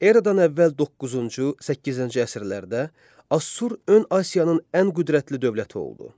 Eradan əvvəl 9-cu, 8-ci əsrlərdə Assur ön Asiyanın ən qüdrətli dövləti oldu.